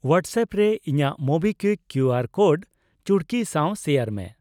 WhatsApp ᱨᱮ ᱤᱧᱟᱜ MobiKwik QR code ᱪᱩᱲᱠᱤ ᱥᱟᱣ ᱥᱮᱭᱟᱨ ᱢᱮ ᱾